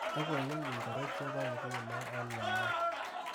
Logoiwek ingoro chebo ngunoo eng Yahoo?